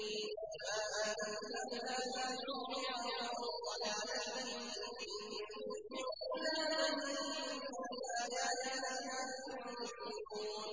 وَمَا أَنتَ بِهَادِ الْعُمْيِ عَن ضَلَالَتِهِمْ ۖ إِن تُسْمِعُ إِلَّا مَن يُؤْمِنُ بِآيَاتِنَا فَهُم مُّسْلِمُونَ